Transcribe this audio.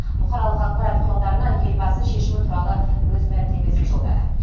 бұқаралық ақпарат құралдарына елбасы шешімі туралы өз мәлімдемесін жолдады